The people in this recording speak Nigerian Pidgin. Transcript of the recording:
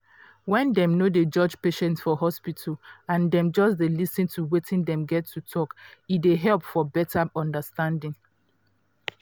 when dem no dey judge patient for hospital and dem just dey lis ten to wetin dem get to talk e dey help for beta understanding.